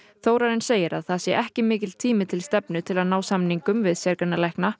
Þórarinn segir að það sé ekki mikill tími til stefnu til að ná samningum við sérgreinalækna